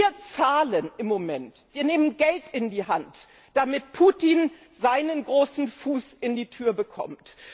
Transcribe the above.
Wir zahlen im Moment, wir nehmen Geld in die Hand, damit Putin seinen großen Fuß in die Tür bekommt.